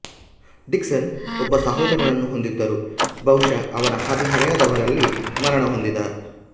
Dixon ಒಬ್ಬ ಸಹೋದರನನ್ನು ಹೊಂದಿದ್ದರು ಬಹುಶಃ ಅವನ ಹದಿಹರೆಯದವರಲ್ಲಿ ಮರಣಹೊಂದಿದ